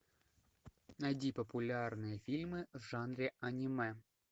найди популярные фильмы в жанре аниме